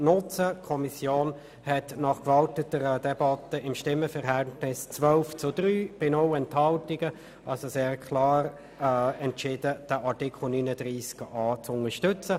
Die Kommission hat mit dem Stimmenverhältnis von 12 zu 3 bei 0 Enthaltungen, also sehr klar entschieden, Artikel 39a zu unterstützen.